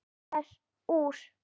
Krakkar úr